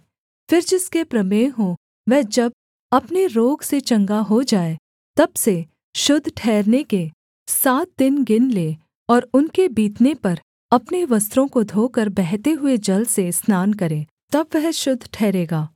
फिर जिसके प्रमेह हो वह जब अपने रोग से चंगा हो जाए तब से शुद्ध ठहरने के सात दिन गिन ले और उनके बीतने पर अपने वस्त्रों को धोकर बहते हुए जल से स्नान करे तब वह शुद्ध ठहरेगा